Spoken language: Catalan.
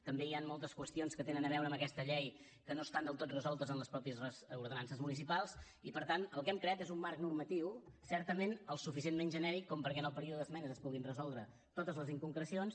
també hi han moltes qüestions que tenen a veure amb aquesta llei que no estan del tot resoltes en les mateixes ordenances municipals i per tant el que hem creat és un marc normatiu certament el suficientment genèric perquè en el període d’esmenes es puguin resoldre totes les inconcrecions